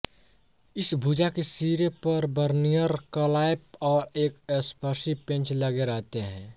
इस भुजा के सिरे पर बर्नियर क्लैंप और एक स्पर्शी पेंच लगे रहते हैं